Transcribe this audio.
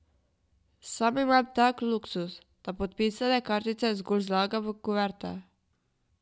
Sam imam tak luksuz, da podpisane kartice zgolj zlagam v kuverte.